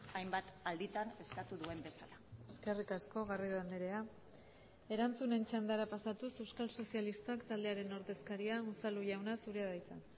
hainbat alditan eskatu duen bezala eskerrik asko garrido andrea erantzunen txandara pasatuz euskal sozialistak taldearen ordezkaria unzalu jauna zurea da hitza